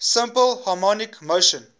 simple harmonic motion